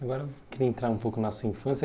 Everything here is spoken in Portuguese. Agora eu queria entrar um pouco na sua infância.